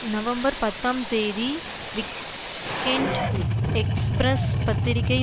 November பத்தாம் தேதி weekend express பத்திரிகை